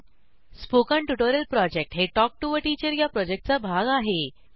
spoken tutorial project हे talk to teacher या प्रॉजेक्टचा भाग आहे